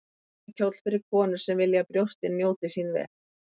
Tilvalinn kjóll fyrir konur sem vilja að brjóstin njóti sín vel.